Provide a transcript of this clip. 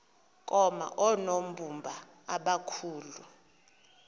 koma oonobumba abakhulu